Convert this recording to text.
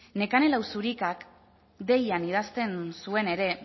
nekane lauzirikak deian idazten zuen ere